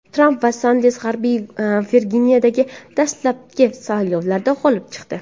Tramp va Sanders G‘arbiy Virginiyadagi dastlabki saylovlarda g‘olib chiqdi.